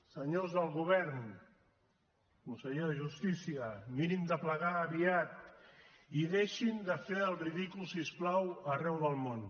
senyors del govern conseller de justícia mirin de plegar aviat i deixin de fer el ridícul si us plau arreu del món